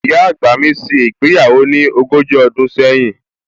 Ìyá àgbà mi ṣe ìgbéyàwó ní ogójì ọdún sẹ́yìn